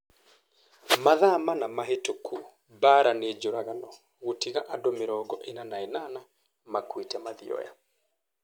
Mathaa mana mahĩtũku Mbaara nĩ njũragano gũtiga andũ mĩrongo ina na inana makuĩte Mathioya